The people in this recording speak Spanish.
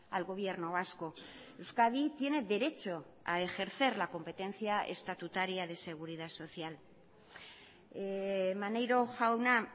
al gobierno vasco euskadi tiene derecho a ejercer la competencia estatutaria de seguridad social maneiro jauna